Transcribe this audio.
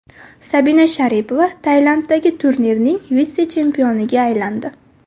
Sabina Sharipova Tailanddagi turnirning vitse-chempioniga aylandi.